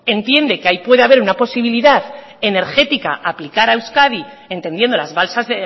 entiende que ahí puede a ver una posibilidad energética a aplicar a euskadi entendiendo las balsas